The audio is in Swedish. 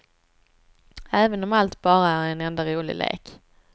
Även om allt bara är en enda rolig lek.